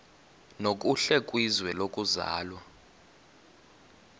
nokuhle kwizwe lokuzalwa